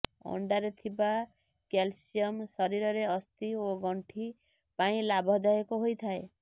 ଅଣ୍ଡାରେ ଥିବା କ୍ୟାଲସିଅମ ଶରୀରର ଅସ୍ଥି ଓ ଗଣ୍ଠି ପାଇଁ ଲାଭଦାୟକ ହୋଇଥାଏ